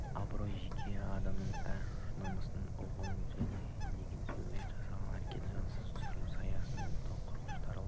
абырой жеке адамның ар-намысын ұғыну деген сөз ұят жасаған әрекетінің жөнсіздігін түсінушілік сасу тобырға қорқыныштың таралуы